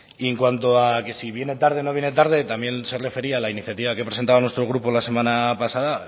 y en cuanto a que si viene tarde o no viene tarde también se refería a la iniciativa que presentaba nuestro grupo la semana pasada